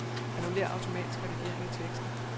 Annullér automatisk redigering i teksten.